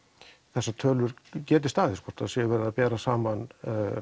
þessar tölur geti staðist hvort sé verið að bera saman